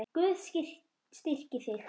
Guð styrki þig.